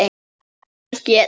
Hann hét